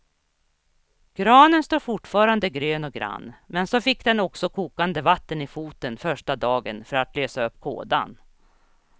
Granen står fortfarande grön och grann, men så fick den också kokande vatten i foten första dagen för att lösa upp kådan.